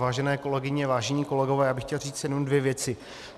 Vážené kolegyně, vážení kolegové, já bych chtěl říct jenom dvě věci.